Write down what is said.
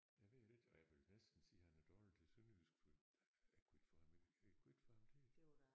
Jeg ved det ikke og jeg vil næsten sige han er dårlig til sønderjysk for jeg kunne ikke få ham jeg kunne ikke få ham til det